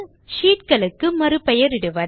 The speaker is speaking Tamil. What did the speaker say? ஷீட் களுக்கு மறுபெயரிடுவது